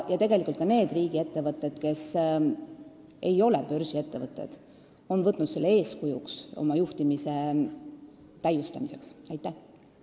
Tegelikult on ka riigiettevõtted, kes ei ole börsil, need oma juhtimise täiustamisel eeskujuks võtnud.